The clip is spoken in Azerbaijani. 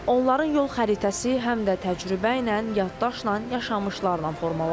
Onların yol xəritəsi həm də təcrübə ilə, yaddaşla, yaşamışlarla formalaşır.